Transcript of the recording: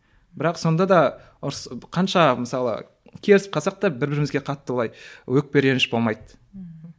бірақ сонда да ұрыс қанша мысалы керісіп қалсақ та бір бірімізге қатты былай өкпе реніш болмайды ммм